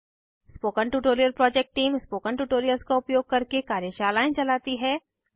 spoken tutorial project team spoken tutorials का उपयोग करके कार्यशालाएं चलाती है